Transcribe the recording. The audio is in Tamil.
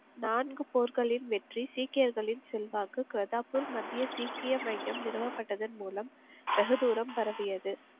நான்கு போர்களின் வெற்றி சீக்கயர்களின் செல்வாக்கு பிரதாப்பூர் மத்திய சீக்கிய மையம் நிறுவப்பட்டதன் மூலம் வெகு தூரம் பரவியது.